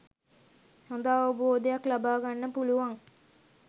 හොඳ අවබෝධයක් ලබාගන්න පුළුවන්.